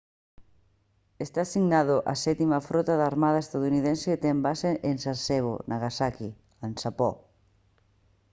está asignado á sétima frota da armada estadounidense e ten base en sasebo nagasaki en xapón